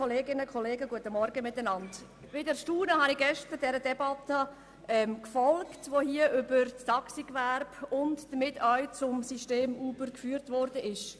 Mit Erstaunen habe ich diese Debatte über das Taxigewerbe und damit auch über das System Uber gestern verfolgt.